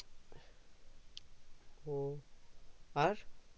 ও আর